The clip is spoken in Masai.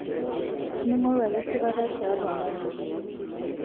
mingoru ake esipata tiatua mongo